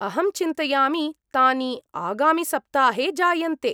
अहं चिन्तयामि तानि आगामिसप्ताहे जायन्ते।